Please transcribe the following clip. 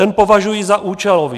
Ten považuji za účelový.